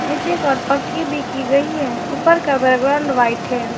नीचे पर पक्की भी की गई है ऊपर का बैकग्राउंड वाइट है।